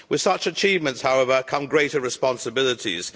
With such achievements, however, come greater responsibilities.